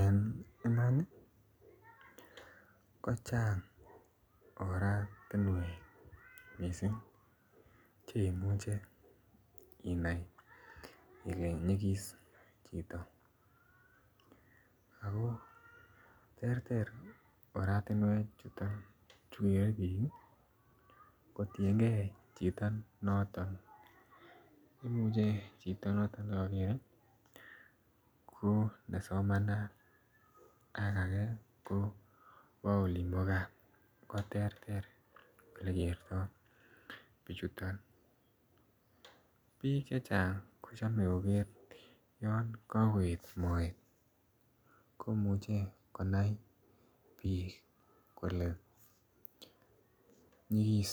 En Iman kochang Oratinwek mising Che imuchei inai ile nyigis chito ago terter oratinewechuto kotienge chito noton ne kokere ko nesomanat ko age kobo olin bo gaa ko terter Ole kertoi bichuto bik chechang ko chome koker olon ko koet moet komuche konai bik kole nyigis